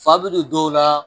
Fa bɛ don dɔw la.